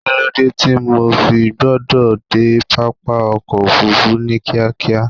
kí ló dé tí mo fi gbọdọ̀ dé pápá ọkọ̀ ofurufu ní kíákíá?